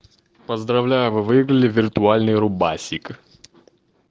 поздравляю вы выиграли виртуальный рубасик